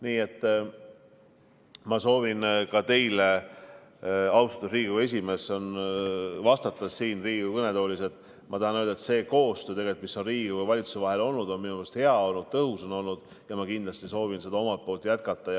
Nii et ma soovin ka teile, austatud Riigikogu esimees, vastates siin Riigikogu kõnetoolis, öelda, et see koostöö, mis on Riigikogu ja valitsuse vahel olnud, on minu meelest olnud hea, ja ma kindlasti soovin seda jätkata.